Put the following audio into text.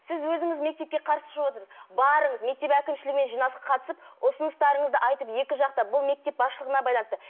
сіз өзіңіз мектепке қарсы шығып отырсыз барыңыз мектеп әкімшілігімен жиналысқа қатысып ұсыныстарыңызды айтып екі жақта бұл мектеп басшылығына байланысты